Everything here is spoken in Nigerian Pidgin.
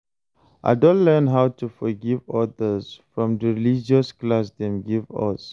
I don learn how to forgive others from di religious class dem give us.